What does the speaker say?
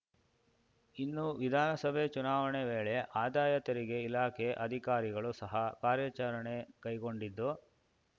ಇನ್ನು ವಿಧಾನಸಭೆ ಚುನಾವಣೆ ವೇಳೆ ಆದಾಯ ತೆರಿಗೆ ಇಲಾಖೆ ಅಧಿಕಾರಿಗಳು ಸಹ ಕಾರ್ಯಾಚರಣೆ ಕೈಗೊಂಡಿದ್ದು